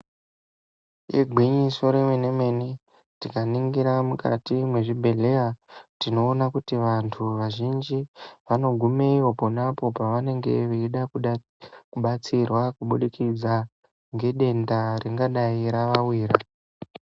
Igwinyiso remene mene tikaningira mukati mezvibhedhlera tinoona kuti vantu vazhinji vanogumeyo ponapo pavanenge veida kubatsirwa kubudikidza ngedenda ringadai ravawira.